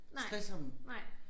Stresser dem